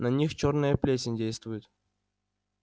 на них чёрная плесень действует